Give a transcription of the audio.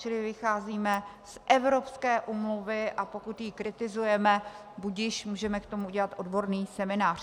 Čili vycházíme z evropské úmluvy a pokud ji kritizujeme, budiž, můžeme k tomu udělat odborný seminář.